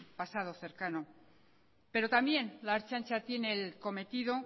pasado cercano pero también la ertzaintza tiene el cometido